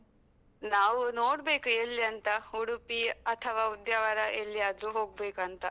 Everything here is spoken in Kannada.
ನಾವು ನೋಡ್ಬೇಕು ಎಲ್ಲಿ ಅಂತ, ಉಡುಪಿ ಅಥವಾ ಉದ್ಯಾವರ ಎಲ್ಲಿಯಾದ್ರೂ ಹೋಗ್ಬೇಕು ಅಂತ.